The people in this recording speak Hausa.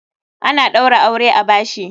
Ana ɗaura aure a bashi.